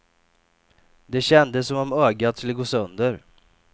Det kändes som om ögat skulle gå sönder.